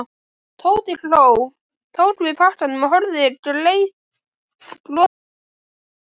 Tóti hló, tók við pakkanum og horfði gleiðbrosandi á stelpuna.